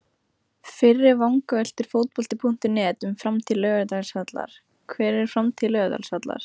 Fyrri vangaveltur Fótbolti.net um framtíð Laugardalsvallar: Hver er framtíð Laugardalsvallar?